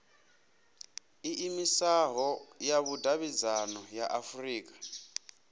iimisaho ya vhudavhidzano ya afurika